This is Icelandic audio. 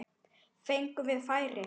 Fengum við færi?